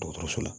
Dɔgɔtɔrɔso la